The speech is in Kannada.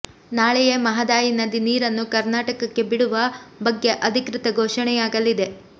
ನಾಳೆಯೇ ಮಹದಾಯಿ ನದಿ ನೀರನ್ನು ಕರ್ನಾಟಕಕ್ಕೆ ಬಿಡುವ ಬಗ್ಗೆ ಅಧಿಕೃತ ಘೋಷಣೆಯಾಗಲಿದೆ